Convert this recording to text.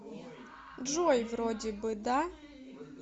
джой вроде бы да